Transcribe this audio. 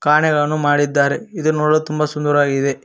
ಆಣೆಗಳನ್ನು ಮಾಡಿದ್ದಾರೆ ಇದು ನೋಡಲು ತುಂಬಾ ಸುಂದರವಾಗಿದೆ.